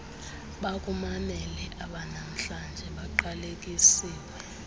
bakumamele abanamhlanje baqalekisiwe